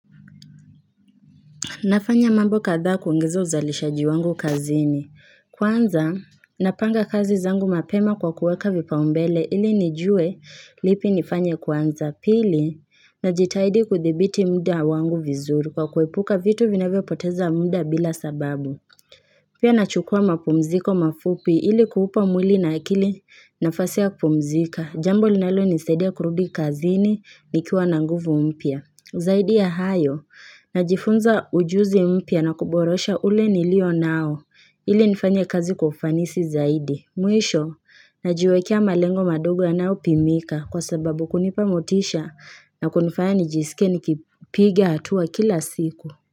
Nafanya mambo kadhaa kuongeza uzalishaji wangu kazini. Kwanza, napanga kazi zangu mapema kwa kuweka vipa umbele ili nijue lipi nifanye kwanza. Pili, najitaidi kuthibiti muda wangu vizuri kwa kuepuka vitu vinavyo poteza muda bila sababu. Pia nachukua mapumziko mafupi ili kuupa mwili na akili nafasi ya kupumzika. Jambo linalo nisaidia kurudi kazini nikiwa na nguvu mpya. Zaidi ya hayo, najifunza ujuzi mpya na kuborosha ule nilio nao, ili nifanye kazi kwa ufanisi zaidi. Mwisho, najwekea malengo madogo yanayo pimika kwa sababu kunipamotisha na kunifanya nijisikie nikipiga hatua kila siku.